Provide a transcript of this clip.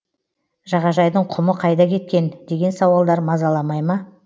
жағажайдың құмы қайда кеткен деген сауалдар мазаламай ма